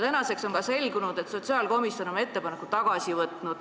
Tänaseks on selgunud, et sotsiaalkomisjon on oma ettepaneku tagasi võtnud.